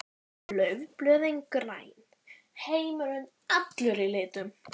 Laufblöðin græn, heimurinn allur í litum.